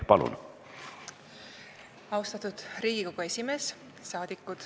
Head rahvasaadikud!